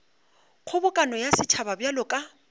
kgobokano ya setšhaba bjalo ka